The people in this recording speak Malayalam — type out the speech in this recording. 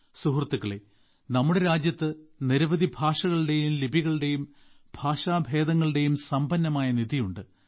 സുഹൃത്തുക്കളേ നമ്മുടെ രാജ്യത്ത് നിരവധി ഭാഷകളുടെയും ലിപികളുടെയും ഭാഷാഭേദങ്ങളുടെയും സമ്പന്നമായ നിധിയുണ്ട്